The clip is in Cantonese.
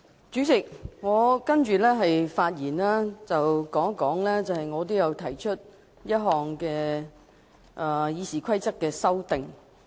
主席，我接下來要談一談我提出的一項《議事規則》修訂議案。